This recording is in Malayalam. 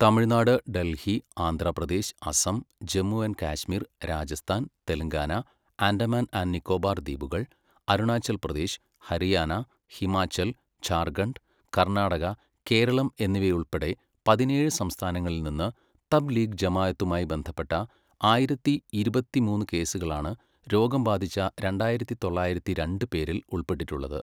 തമിഴ്നാട്, ഡൽഹി, ആന്ധ്ര പ്രദേശ്, അസം, ജമ്മു ആൻഡ് കാശ്മീർ, രാജസ്ഥാൻ, തെലങ്കാന, ആൻഡമാൻ ആൻഡ് നിക്കോബാർ ദ്വീപുകൾ, അരുണാചൽ പ്രദേശ്, ഹരിയാന, ഹിമാചൽ, ഝാർഖണ്ഡ്, കർണാടക, കേരളം എന്നിവയുൾപ്പെടെ പതിനേഴ് സംസ്ഥാനങ്ങളിൽ നിന്ന് തബ് ലീഗ് ജമാഅത്തുമായി ബന്ധപ്പെട്ട ആയിരത്തി ഇരുപത്തിമൂന്ന് കേസുകളാണ് രോഗം ബാധിച്ച രണ്ടായിരത്തി തൊള്ളായിരത്തി രണ്ട് പേരിൽ ഉൾപ്പെട്ടിട്ടുള്ളത്.